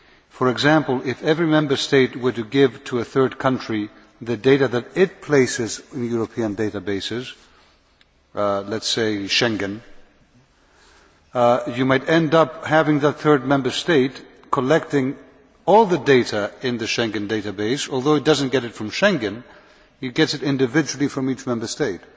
For example, if every Member State were to give to a third country the data that it places in European databases let us say Schengen you might end up having the third country collecting all the data in the Schengen database. Although it does not get it from Schengen, it gets it individually from each Member State.